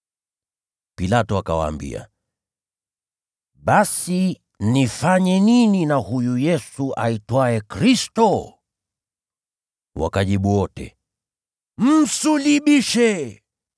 Pilato akawaambia, “Basi nifanye nini na huyu Yesu aitwaye Kristo?” Wakajibu wote, “Msulubishe!”